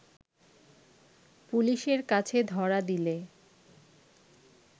পুলিশের কাছে ধরা দিলে